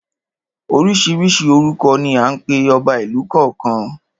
Oríṣiríṣi orúkọ ni à ń pe ọba ìlú kọ̀ọ̀kan.